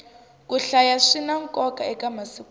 ku hlaya swina nkoka eka masiku lawa